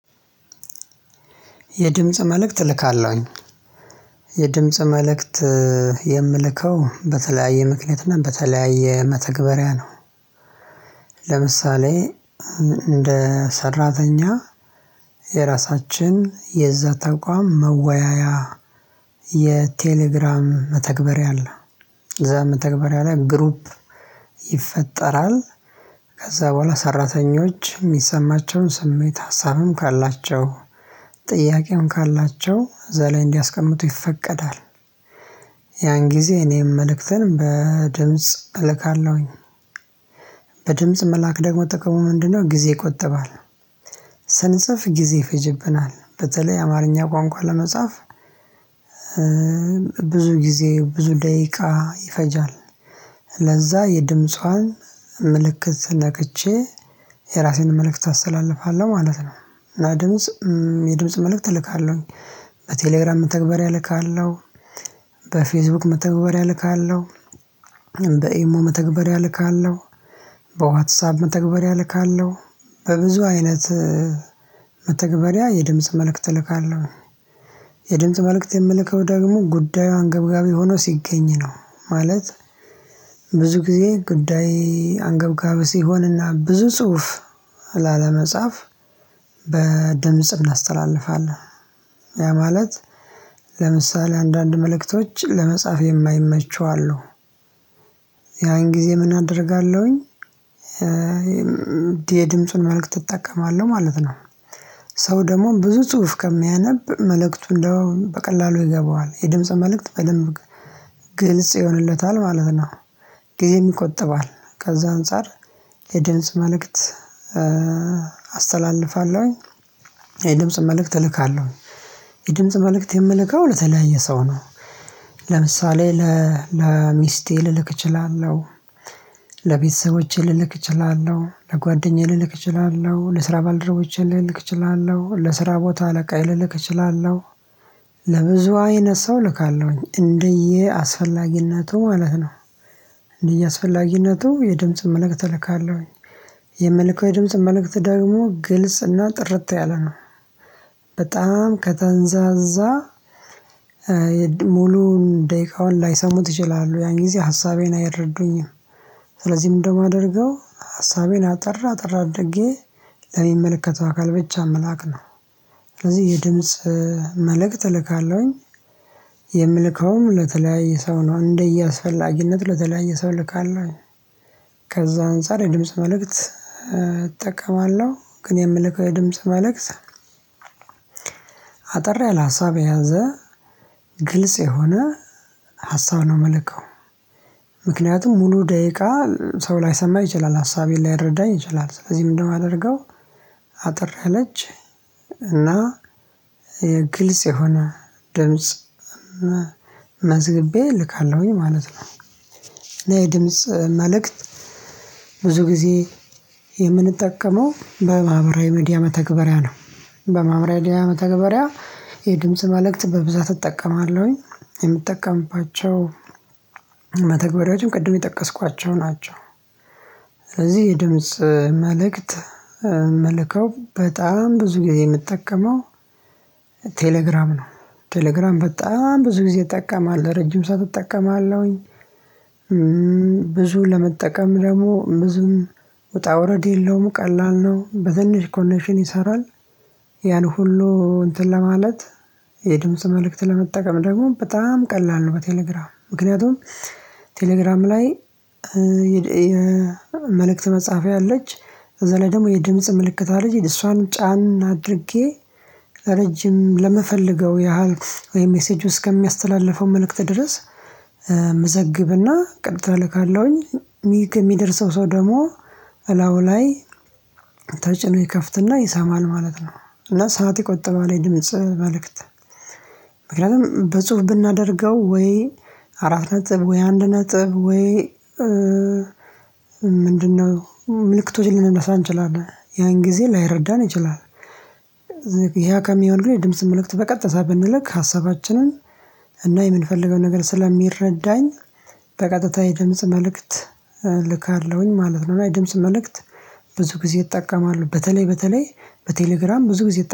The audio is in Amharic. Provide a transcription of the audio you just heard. የድምጽ መልእክት እልካለሁኝ። የድምጽ መልእክት የምልከው በተለያየ ምክንያት እና በተለያየ መተግበሪያ ነው። ለምሳሌ እንደ ሰራተኛ የራሳችን የዛ ተቋም መወያያ የቴሌግራም መተግበር አለ ዘመተግበር ለይ ግሩፕ ይፈጠራል ከዛ በኋላ ሰራተኞች የሚሰማቸውን ስሜት ሀሳብም ካላቸው፣ ጥያቄም ካላቸው፣ እዘላይ እንዲያስቀምጡ ይፈቀዳል ያን ጊዜ እኔም መልእክትን በድምጽ እልካለሁኝ። በድምጽ መላክ ደግሞ ጥቅሙ ምንድነው ጊዜ ይቆጥባል ስንጽፍ ጊዜ ይፈጅብናል። በተለይ አማርኛ ቋንቋ ለመጻፍ ብዙ ጊዜ፣ ብዙ ደቂቃ ይፈጃል ለዛ የድምጿን ምልክት ስንነከቼ የራሴን መልእክት አስተላልፋለሁ ማለት ነው። እና ድምጽ የድምጽ መልእክት እልካለሁኝ። በቴሌግራም መተግበር እልካለሁ፣ በፌስቡክ መተግበርያ እልካለው በኤሞ መተግበር ያልካለው፣ በዋትሳብ መተግበር ያልካለው በብዙ አይነት መተግበሪያ የድምጽ መልእክት እልካለሁ። የድምጽ መልእክት የምልከው ደግሞ ጉዳዩ አንገብጋቢ ሆኖ ሲገኝ ነው። ማለት ብዙ ጊዜ ጉዳይ አንገብጋበህ ሲሆንና፣ ብዙ ጽሁፍ ላለመጻፍ በድምጽ እናስተላልፋለን። ያ ማለት ለምሳሌ አንዳንድ መልእክቶች ለመጻፍ የማይመቸው አሉ። ያን ጊዜ ምን አደርጋለሁኝ፣ የድምጹን መልእክት እጠቀማለሁ ማለት ነው። ሰው ደግሞ ብዙ ጽሁፍ ከሚያነብ መልእክቱ እንደው በቀላሉ ይገባዋል! የድምጽ መልእክት በደንብ ግልጽ ይሆንለታል ማለት ነው። ግዜም ይቆጥባል ከዛ አንፃር የድምጽ መልእክት አስተላልፋለሁኝ፣ የድምጽ መልእክት እልካለሁ። የድምጽ መልእክት የምልከው ለተለያየ ሰው ነው። ለምሳሌ ለሚስቴ ልልክ እችላለሁ፣ ለቤተሰቦቼ ልልክ እችላለሁ፣ ለጓደኛዬ ልልክ እችላለሁ፣ ለስራ ባልደረቦቼ ልልክ እችላለሁ፣ ለስራ ቦታ ለቃይ ልልክ እችላለሁ፣ ለብዙ አይነት ሰው ልካለሁኝ እንደየ አስፈላጊነቱ ማለት ነው። እንደየ አስፈላጊነቱ የድምጽ መልእክት እልካለሁኝ፣ የመልካው የድምጽ መልእክት ደግሞ ግልጽና ጥርት ያለ ነው። በጣም ከተንዛዛ ሙሉውን፣ ደቂቃውን ላይሰሙት ይችላሉ ያን ጊዜ ሀሳቤን አይረዱኝም። ስለዚህ ምን እንደማደርገው ሀሳቤን አጠራ አጠራ አድርጌ ለሚመለከተው አካል ብቻ መላክ ነው። ስለዚህ የድምጽ መልእክት እልካለሁኝ፣ የምልከውን ለተለያየ ሰው ነው። እንደየአስፈላጊነት ለተለያየ ሰው ልካለሁ። ከዛ አንፃር የድምጽ መልእክት እጠቀማለሁ፣ ግን የምልከ ድምጽ መልእክት አጠር ያለ ሀሳብ የያዘ፣ ግልጽ የሆነ፣ ሀሳብ ነው የምልከው። ምክንያቱም ሙሉ ደቂቃ ሰው ላይሰማ ይችላል ሀሳቤን ላይረዳኝ ይችላል ስለዚህ ምን እንደማደርገው አጥር እለች እና የግልጽ የሆነ ድምጽ መዝግቤ እልካለሁኝ ማለት ነው። ድምጽ መልእክት ብዙ ጊዜ የምንጠቀመው በማብራዊ መድያ መተግበሪያ ነው። በማብራዊ የሚድያ መተግበሪያ የድምጽ መልእክት በብዛት እጠቀማለሁኝ፣ የምጠቀምባቸው መተግበሪያዎችም ቅድም የጠቀስኳቸው ናቸው። ስለዚህ የድምጽ መልእክት መልከብ፣ በጣም ብዙ የምጠቀመው ቴሌግራም ነው። ቴሌግራም በጣም ብዙ ጊዜ እጠቀማለሁ ረጅም ሰዓት እጠቀማለሁኝ፣ ብዙ ለመጠቀም ደግሞ፣ ምዙም ወጣ ወረድ የለውም ቀላል ነው። በትንሽ ኮኔክሽን ይሰራል ያን ሁሉ እንትን ለማለት የድምጽ መልእክት ለመጠቀም ደግሞ በጣም ቀላል ነው። በቴሌግራም ምክንያቱም፣ ቴሌግራም ላይ የመልእክት መጽሐፍ ያለች ከዛ ላይ ደግሞ የድምጽ ምልክታ ምልክታል እሷን ጫን አድርጌ፣ ለረጅም፣ ለመፈለገው ያህል ወይም ሜሴጁ እስከሚያስተላልፈው መልእክት ድረስ፣ መዘግብና፣ ቀጥታ ካለሁኝ የሚደርሰው ሰው ደግሞ እላው ላይ ተጭኖ ይከፍትና ይሰማል ማለት ነው። እና ሰዓት ይቆጥባል እድሜ ጽህፈት ምክንያቱም፣ በጽሁፍ ብናደርገው ወይ አራት ነጥብ፣ ወይ አንድ ነጥብ ወይ፣ ምንድነው ምልክቶችን ልንነሳ እንችላለን ያን ጊዜ ላይረዳን ይችላል። ያ ከሚሆን ግን፣ የድምጽ መልእክት በቀጥታ ብንልክ ሀሳባችንን እና የምንፈልገው ነገር ስለሚረዳኝ በቀጥታ የድምጽ መልእክት እልካለሁኝ ማለት ነው። እና የድምጽ መልእክት ብዙ ጊዜ ይጠቀማሉ በተለይ፣ በተለይ በቴሌግራም ብዙ ጊዜ